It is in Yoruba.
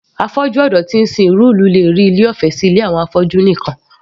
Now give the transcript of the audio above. Afọ́jú ọ̀dọ́ tí ń sin ìlú rí ilé sí ilé ìtọ́jú fún àwọn afọ́jú nìkan